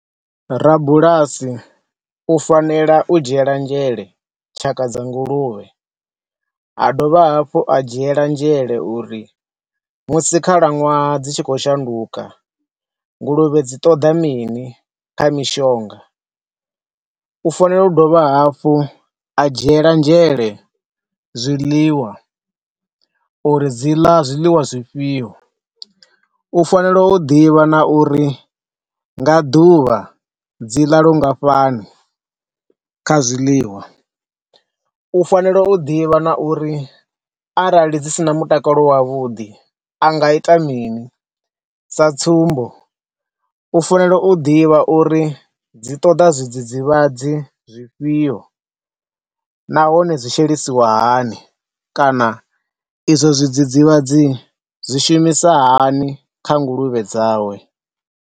Rabulasi u fanela u dzhiela nzhele tshaka dza nguluvhe, a dovha hafhu ha dzhiela nzhele uri musi khalaṅwaha dzi tshi kho shanduka nguluvhe dzi ṱoḓa mini kha mishonga. U fanela u dovha hafhu a dzhiela nzhele zwiḽiwa uri dzi ḽa zwiḽiwa zwifhio. U fanela u ḓivha na uri nga ḓuvha dzi ḽa lungafhani kha zwiḽiwa. U fanela u ḓivha na uri arali dzi sina mutakalo wavhuḓi a nga ita mini, sa tsumbo, u fanela u ḓivha uri dzi ṱoḓa zwidzidzivhadzi zwifhio nahone zwi shelisiwa hani kana i zwo zwidzidzivhadzi zwi shumisa hani kha nguluvhe dzawe.